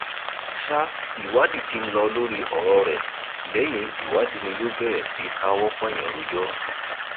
sa ìwádìí tí ń lọ lórí ọrọ rẹ lẹyìn ìwádìí ni yóò bẹrẹ sí í káwọ pọnyìn rojọ